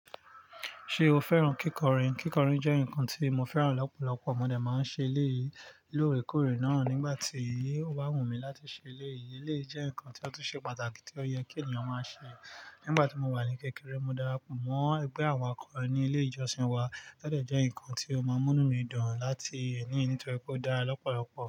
Ṣé o fẹ́ràn kíkọrin? Kíkọrin jẹ́ nǹkan tí mo fẹ́ràn lọ́pọ̀lọpọ̀. Mọ dé máa ń ṣe eléyìí lóore kóòrè náà. Nígbà tí ó bá wù mí láti ṣe eléyìí, eléyìí jẹ́ nǹkan ti o tun ṣe pàtàkì tí ó yẹ kí ènìyàn máa ṣe. Nígbà tí mo wà ní kékeré, mo darapọ̀ mọ́ ẹgbẹ́ àwon akọ̀rin ní ilé ìjọsìn wa, to dẹ́ jẹ́ nǹkan tí ó máa ń mú nu mí dùn láti ní nítorí pé ó dára lọ́pọ̀lọpọ̀.